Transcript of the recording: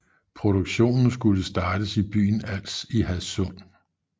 Produktionen skulle startes i byen Als i Hadsund